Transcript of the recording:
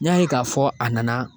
N y'a ye k'a fɔ a nana